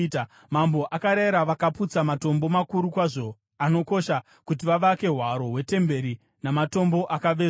Mambo akarayira vakaputsa matombo makuru kwazvo, anokosha, kuti vavake hwaro hwetemberi namatombo akavezwa.